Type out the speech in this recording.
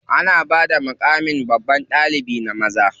Ana bada maƙamin babban ɗalibi na maza.